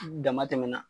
Dama tɛmɛna